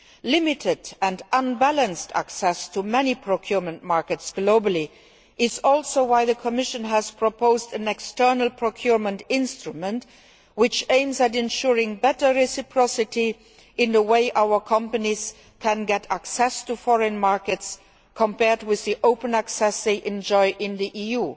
Limited and unbalanced access to many procurement markets globally is also why the Commission has proposed an external procurement instrument which aims at ensuring better reciprocity in the way our companies can get access to foreign markets, compared with the open access they enjoy in the EU.